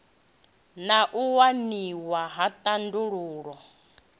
na u waniwa ha thandululo